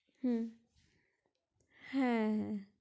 হ্যা হু